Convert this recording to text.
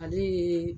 Ale ye